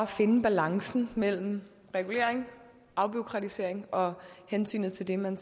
finde balancen mellem regulering afbureaukratisering og hensynet til det man